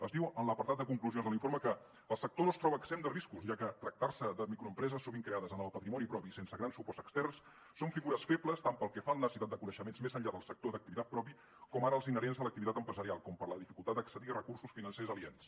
es diu en l’apartat de conclusions de l’informe que el sector no es troba exempt de riscos ja que en tractar se de microempreses sovint creades amb el patrimoni propi i sense grans suports externs són figures febles tant pel que fa a la necessitat de coneixements més enllà del sector d’activitat propi com ara els inherents a l’activitat empresarial com per la dificultat d’accedir a recursos financers aliens